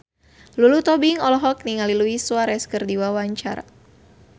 Lulu Tobing olohok ningali Luis Suarez keur diwawancara